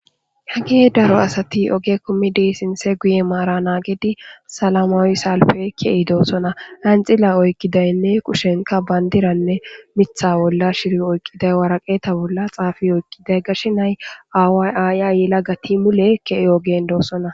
he ge daro asati oge kummidi sinse guye maara naagidi salamawi salfekeei doosona anxila oykkidaynne kushenka bayndiranne mitha bolla shiri oyqiday waraqeeta bolla xaafi oykqiday gashinay awayaya yila gati mulekkee ogen doossona